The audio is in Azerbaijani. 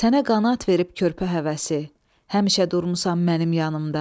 Sənə qanad verib körpə həvəsi, həmişə durmusan mənim yanımda.